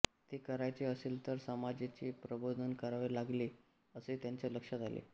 ते करायचे असेल तर समाजाचेच प्रबोधन करावे लागेल असे त्यांच्या लक्षात आले